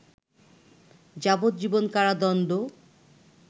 যাবজ্জীবন কারাদণ্ড